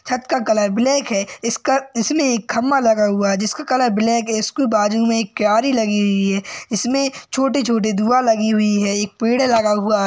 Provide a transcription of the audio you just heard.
छत का colour black है। इसका इसमें खंभा लगा हुआ है जिसका कलर ब्लैक है। उसके बाजु में एक क्यारी लगी हुई है। इसमें छोटे छोटे लगी हुई है। एक पेड़ लगा हुआ --